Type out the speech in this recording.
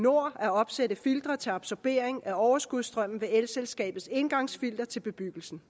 at opsætte filtre til absorbering af overskudsstrømmen ved elselskabets indgangsfilter til bebyggelsen